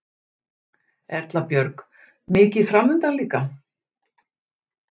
Erla Björg: Mikið framundan líka?